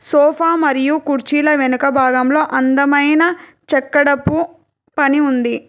Sofa మరియు కుర్చీల వెనుక భాగంలో అందమైన చక్కెరపు పని ఉంది.